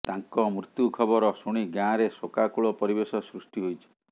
ତାଙ୍କ ମୃତ୍ୟୁ ଖବର ଶୁଣି ଗାଁରେ ଶୋକାକୁଳ ପରିବେଶ ସୃଷ୍ଟି ହୋଇଛି